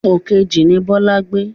Pòkejì ni Bọlá gbé.